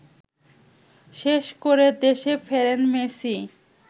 শেষ করে দেশে ফেরেন মেসি